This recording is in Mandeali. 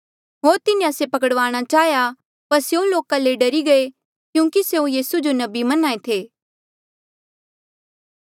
होर तिन्हें से पकड़वाणा चाहेया पर स्यों लोका ले डरी गये क्यूंकि स्यों यीसू जो नबी मन्ना ऐें थे